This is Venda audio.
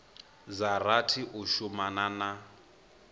dza rathi u shumana na